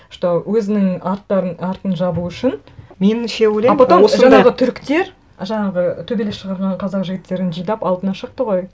что өзінің арттарын артын жабу үшін меніңше ойлаймын осындай а потом жаңағы түріктер жаңағы төбелес шығарған қазақ жігіттерін жинап алдына шықты ғой